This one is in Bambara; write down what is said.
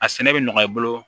A sɛnɛ bɛ nɔgɔ i bolo